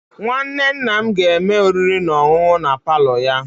Nwanne nna ga-eme oriri na ọṅụṅụ na palo ya.